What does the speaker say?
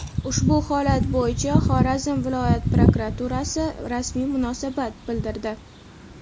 Ushbu holat bo‘yicha Xorazm viloyat prokuraturasi rasmiy munosabat bildirdi.